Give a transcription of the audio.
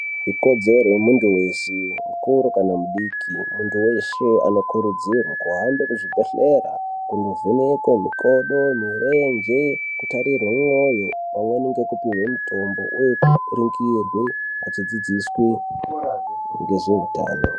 Ikodzero yemuntu wese ,mukuru kana mudiki, muntu wese anokurudzirwa kuhambe kuzvibhedleya kunovhenekwe mikodo, mirenje ,kutarirwe moyo pamweni ngekupiwe mitombo uye echiningirirwe echidzidziswe ngezvehutano.